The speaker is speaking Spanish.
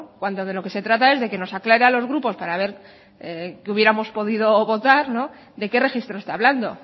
cuando de lo que se trata es de que nos aclare a los grupos para ver qué hubiéramos podido votar de qué registro está hablando